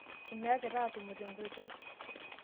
enyaakita aatumo tenkoitoi